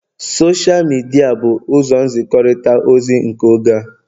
Sosha midia bụ ụzọ nzikọrịta ozi nke oge a